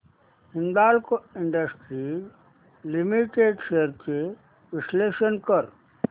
Hindalco industries limited shares चे विश्लेषण कर